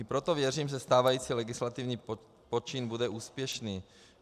I proto věřím, že stávající legislativní počin bude úspěšný.